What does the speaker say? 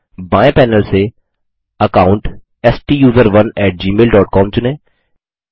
बाएँ पैनल से अकाउंट स्टूसरोन एटी जीमेल डॉट कॉम चुनें